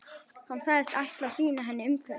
Hann sagðist ætla að sýna henni umhverfið.